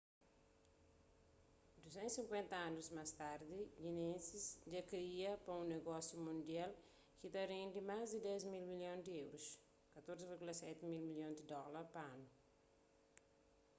250 anus más tardi guinness dja kria pa un nogósiu mundial ki ta rendi más di 10 mil milhon di euros 14,7 mil milhon di dóla pa anu